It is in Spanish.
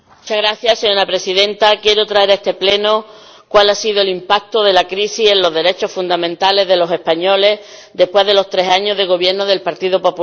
Señora Presidenta, quiero traer a este Pleno cuál ha sido el impacto de la crisis en los derechos fundamentales de los españoles, después de los tres años de gobierno del Partido Popular.